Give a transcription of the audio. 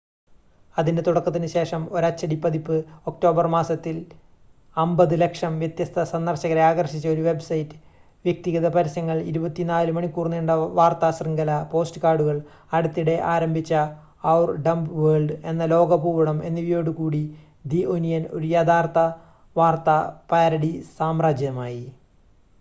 അതിൻ്റെ തുടക്കത്തിന് ശേഷം ഒരച്ചടി പതിപ്പ് ഒക്ടോബർ മാസത്തിൽ 5,000,000 വ്യത്യസ്ത സന്ദർശകരെ ആകർഷിച്ച ഒരു വെബ്സൈറ്റ് വ്യക്തിഗത പരസ്യങ്ങൾ 24 മണിക്കൂർ നീണ്ട വാർത്താ ശൃംഖല പോഡ്കാസ്റ്റുകൾ അടുത്തിടെ ആരംഭിച്ച ഔർ ഡംബ് വേൾഡ് എന്ന ലോക ഭൂപടം എന്നിവയോട് കൂടി ദി ഒനിയൻ ഒരു യഥാർത്ഥ വാർത്താ പാരഡി സാമ്രാജ്യമായി